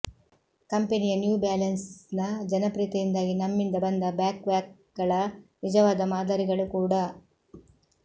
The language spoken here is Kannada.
ಕಂಪೆನಿಯ ನ್ಯೂ ಬ್ಯಾಲೆನ್ಸ್ನ ಜನಪ್ರಿಯತೆಯಿಂದಾಗಿ ನಮ್ಮಿಂದ ಬಂದ ಬ್ಯಾಕ್ಪ್ಯಾಕ್ಗಳ ನಿಜವಾದ ಮಾದರಿಗಳು ಕೂಡಾ